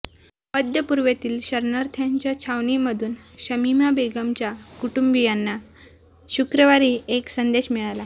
मध्यपूर्वेतील शरणार्थ्यांच्या छवणीमधून शमिमा बेगमच्या कुटुंबीयांना शुक्रवारी एक संदेश मिळाला